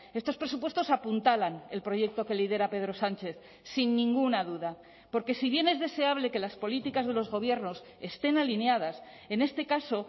estos presupuestos apuntalan el proyecto que lidera pedro sánchez sin ninguna duda porque si bien es deseable que las políticas de los gobiernos estén alineadas en este caso